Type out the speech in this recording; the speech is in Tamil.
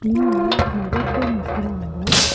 இங்க நறைய பேர் நிக்கறாங்க.